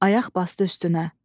Ayaq basdı üstünə.